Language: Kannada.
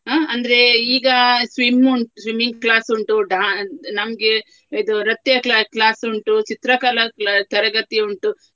ಆ ಅಂದ್ರೆ ಈಗ swim ಉಂಟು swimming class ಉಂಟು dan~ ನಮ್ಗೆ ಇದು ನೃತ್ಯ cla~ class ಉಂಟು ಚಿತ್ರಕಲಾ cla~ ತರಗತಿ ಉಂಟು.